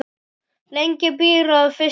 Lengi býr að fyrstu gerð.